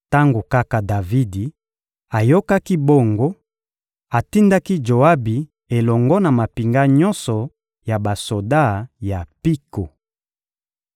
Tango kaka Davidi ayokaki bongo, atindaki Joabi elongo na mampinga nyonso ya basoda ya mpiko.